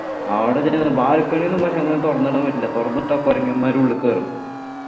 അവിടെ ചെന്ന് balcony ഒന്നും പക്ഷേ അങ്ങനെ തുറന്നിടാൻ പറ്റില്ല തുറന്നിട്ടാ കുരങ്ങന്മാരുള്ളി കേറും